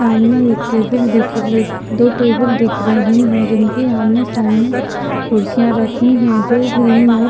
सामने एक टेबल दिख रख दो टेबल दिख रही हैं जिनके आमने सामने कुर्सियाँ रखी हैं जो ग्रीन और --